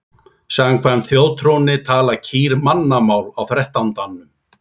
Samkvæmt þjóðtrúnni tala kýr mannamál á þrettándanum.